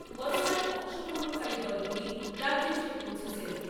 গতকাল অংশগ্রহণকারী দলগুলি রাজ্যে এসে পৌঁছেছে।